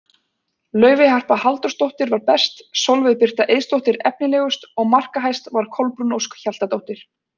Laufey Harpa Halldórsdóttir var best, Sólveig Birta Eiðsdóttir efnilegust og markahæst var Kolbrún Ósk Hjaltadóttir.